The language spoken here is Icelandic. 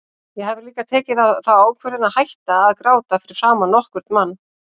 Ég hafði líka tekið þá ákvörðun að hætta að gráta fyrir framan nokkurn mann.